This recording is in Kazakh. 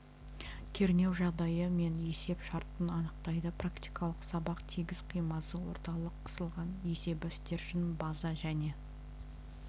кернеу жағдайы мен есеп шартын анықтайды практикалық сабақ тегіс қимасы орталық қысылған есебі стержень база және